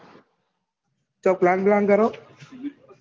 કોઈ PLAN કરો